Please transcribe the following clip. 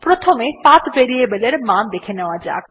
প্রথমে path variable এর মান দেখে নেওয়া যাক